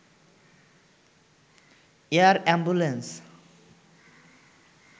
air ambulance